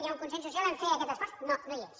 hi ha un consens social a fer aquest esforç no no hi és